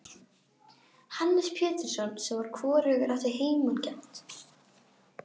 Hannes Pétursson sem hvorugur átti heimangengt.